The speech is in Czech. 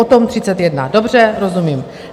O tom 31? Dobře, rozumím.